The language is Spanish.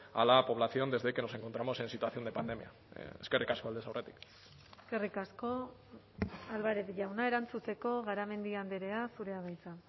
a la población desde que nos encontramos en situación de pandemia eskerrik asko aldez aurretik eskerrik asko álvarez jauna erantzuteko garamendi andrea zurea da hitza